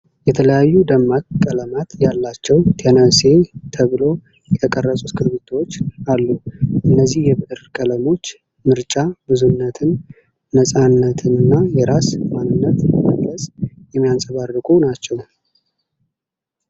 የተለያዩ ደማቅ ቀለማት ያላቸው "ቴነሴ" ተብሎ የተቀረጹ እስክሪብቶዎች አሉ። እነዚህ የብዕር ቀለሞች ምርጫ ብዙነትን፣ ነፃነትንና የራስን ማንነት መግለጽ የሚያንጸባርቁ ናቸው።